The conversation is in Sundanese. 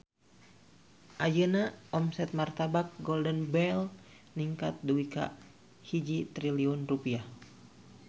Ayeuna omset Martabak Golden Bell ningkat dugi ka 1 triliun rupiah